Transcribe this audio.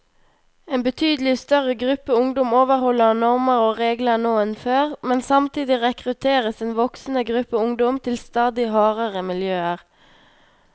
En betydelig større gruppe ungdom overholder normer og regler nå enn før, men samtidig rekrutteres en voksende gruppe ungdom til stadig hardere miljøer.